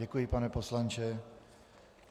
Děkuji, pane poslanče.